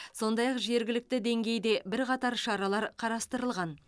сондай ақ жергілікті деңгейде бірқатар шаралар қарастырылған